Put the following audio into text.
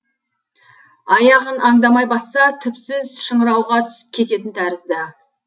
аяғын аңдамай басса түпсіз шыңырауға түсіп кететін тәрізді